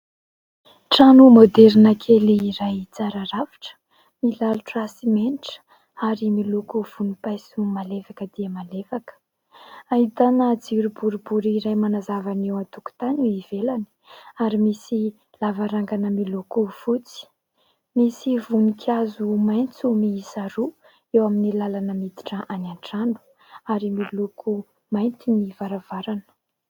Trano maoderina kely iray tsara rafitra milalotra simenitra ary miloko vonimpaiso malefaka dia malefaka. Ahitana jiro boribory iray manazava ny eo an-tokontany eny ivelany, ary misy lavarangana miloko fotsy. Misy voninkazo maitso miisa roa eo amin'ny lalana miditra any an-trano ary miloko mainty ny varavarana.